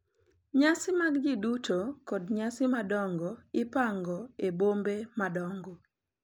Nyasi mag ji duto kod nyasi madongo ipango e bombe madongo,